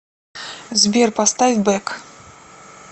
сбер поставь бэк